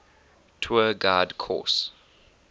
tour guide course